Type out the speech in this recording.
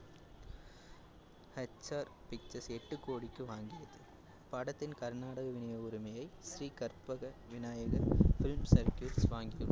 HR pictures எட்டு கோடிக்கு வாங்கியது. படத்தின் கர்நாடக விநியோக உரிமையை ஸ்ரீ கற்பக விநாயக film circuits வாங்கியுள்ளது